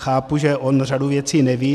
Chápu, že on řadu věcí neví.